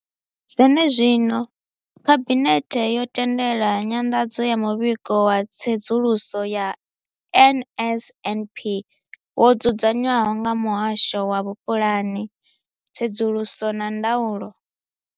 Zwenezwino, Khabinethe yo tendela nyanḓadzo ya Muvhigo wa Tsedzuluso ya NSNP wo dzudzanywaho nga Muhasho wa Vhupulani, Tsedzuluso na Ndaulo.